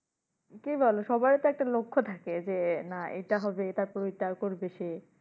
কি বলো সবাইতো একটা লক্ষ্য থাকে যে না এটা হবে এটা করে এটা করবে সে।